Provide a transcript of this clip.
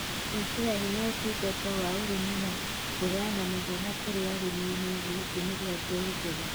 gwĩkĩra hinya ũtungata wa ũrĩmi na kũheana mathomo kũrĩ arĩmi wĩgie ũtũmĩri wa mbegũ njega,